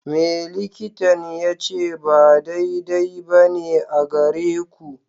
Me likitan ya ce ba daidai ba ne a gare ku?